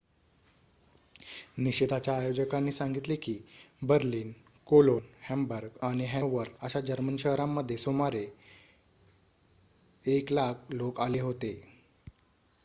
निषेधाच्या आयोजकांनी सांगितले की बर्लिन कोलोन हॅम्बर्ग आणि हॅनोवर अशा जर्मन शहरांमध्ये सुमारे 100,000 लोकं आले होते